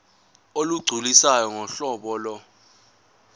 olugculisayo ngohlobo lo